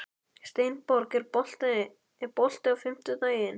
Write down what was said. Steinborg, er bolti á fimmtudaginn?